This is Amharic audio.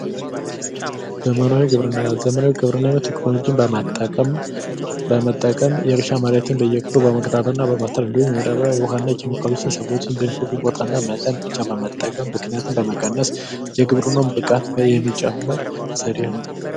ዘመናዊ ግብርና : ዘመናዊ ግብርና ቴክኖሎጅን በመጠቀም የእርሻ መሬትን በየክፍሉ በመቀጣጠል እና በማጠር የማዳበሪያ የዉሀና ቸኬሚካሎችን በመገጣጠም በሚፈልጉት ቦታና መጠን ብቻ በመጠቀም ብክነትን በመቀነስ የግብርናዉን ብቃት የሚጨምር ዘዴ ነዉ።